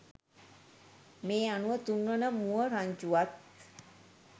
මේ අනුව තුන්වන මුව රංචුවත්